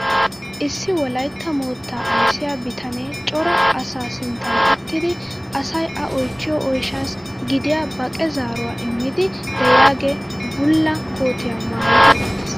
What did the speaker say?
Issi wolaytta moottaa ayssiyaa bitanee cora asaa sinttan uttidi asay a oychchido oyshshsaasi gidiyaa baqe zaaruwaa immiidi de'iyaagee bulla kootiyaa maayidi uttiis.